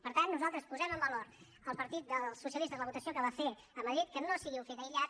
per tant nosaltres posem en valor el partit dels socialistes la votació que va fer a madrid que no sigui un fet aïllat